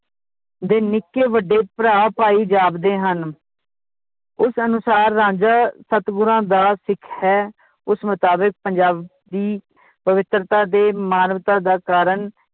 ਦੇ ਨਿੱਕੇ ਵੱਡੇ ਭਰਾ ਭਾਈ ਜਾਪਦੇ ਹਨ ਉਸ ਅਨੁਸਾਰ ਰਾਂਝਾ ਸਤਿਗੁਰਾਂ ਦਾ ਸਿੱਖ ਹੈ ਉਸ ਮੁਤਾਬਿਕ ਪੰਜਾਬੀ ਪਵਿੱਤਰਤਾ ਤੇ ਮਾਨਵਤਾ ਦਾ ਕਾਰਨ